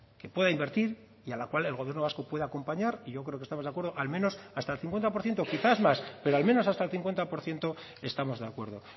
que pueda invertir y a la cual el gobierno vasco puede acompañar y yo creo que estamos de acuerdo al menos hasta el cincuenta por ciento quizás más pero al menos hasta el cincuenta por ciento estamos de acuerdo